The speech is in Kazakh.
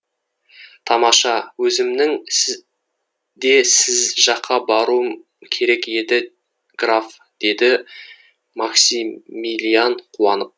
тамаша өзімнің де сіз жаққа баруым керек еді граф деді максимилиан қуанып